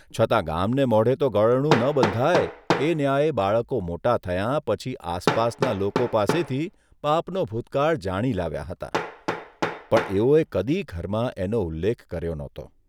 છતાં ગામને મોઢે તો ગળણું ન બંધાય એ ન્યાયે બાળકો મોટાં થયા પછી આસપાસનાં લોકો પાસેથી બાપનો ભૂતકાળ જાણી લાવ્યાં હતાં, પણ એઓએ કદી ઘરમાં એનો ઉલ્લેખ કર્યો નહોતો.